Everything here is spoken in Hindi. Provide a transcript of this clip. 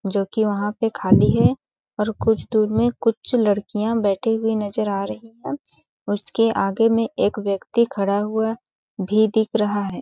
जोकि वहाँ पे खाली है और कुछ दूर में कुछ लड़कियाँ बैठी हुई नज़र आ रही है उसके आगे में एक व्यक्ति खड़ा हुआ भी दिख रहा हैं ।